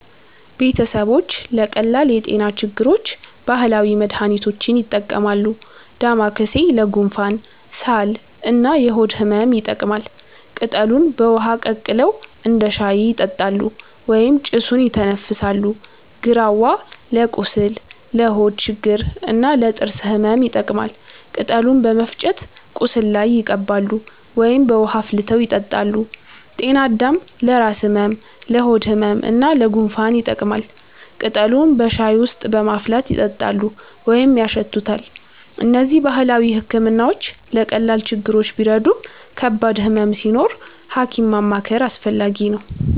ቤተሰቦች ለቀላል የጤና ችግሮች ባህላዊ መድሃኒቶችን ይጠቀማሉ። ዳማከሴ ለጉንፋን፣ ሳል እና የሆድ ህመም ይጠቅማል። ቅጠሉን በውሃ ቀቅለው እንደ ሻይ ይጠጣሉ ወይም ጭሱን ይተነፍሳሉ። ግራዋ ለቁስል፣ ለሆድ ችግር እና ለጥርስ ህመም ይጠቀማል። ቅጠሉን በመፍጨት ቁስል ላይ ይቀባሉ ወይም በውሃ አፍልተው ይጠጣሉ። ጤናአዳም ለራስ ህመም፣ ለሆድ ህመም እና ለጉንፋን ይጠቅማል። ቅጠሉን በሻይ ውስጥ በማፍላት ይጠጣሉ ወይም ያሸቱታል። እነዚህ ባህላዊ ሕክምናዎች ለቀላል ችግሮች ቢረዱም ከባድ ህመም ሲኖር ሐኪም ማማከር አስፈላጊ ነው።